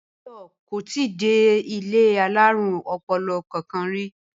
Báyò́ kò tíì dé ilé alárùn o̩po̩lo̩ kankan rí